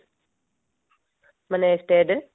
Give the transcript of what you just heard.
ମାନେ state